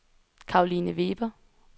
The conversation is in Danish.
Caroline Weber